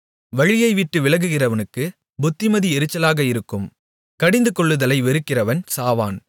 வழியைவிட்டு விலகுகிறவனுக்குப் புத்திமதி எரிச்சலாக இருக்கும் கடிந்துகொள்ளுதலை வெறுக்கிறவன் சாவான்